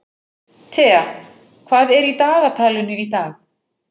Thea, hvað er í dagatalinu í dag?